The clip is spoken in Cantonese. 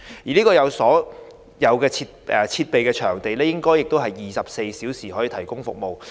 這個有所有設備的場地，應該是24小時提供服務。